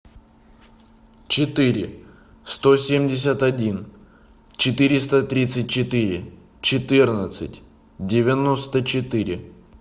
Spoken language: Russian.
четыре сто семьдесят один четыреста тридцать четыре четырнадцать девяносто четыре